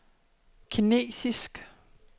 kinesisk